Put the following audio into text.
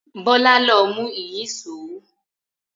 Bọ́lá ló mú ìyíṣòó.